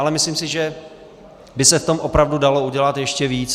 Ale myslím si, že by se v tom opravdu dalo udělat ještě víc.